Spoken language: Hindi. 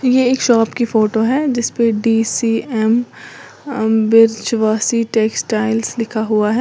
यह एक शॉप की फोटो है जिस पर डी_सी_एम बृजवासी टेक्सटाइल लिखा हुआ है।